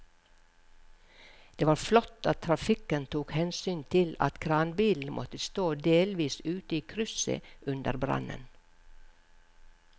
Det var flott at trafikken tok hensyn til at kranbilen måtte stå delvis ute i krysset under brannen.